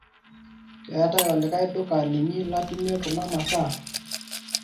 keetae olikae duka linyi latumie kuna masaa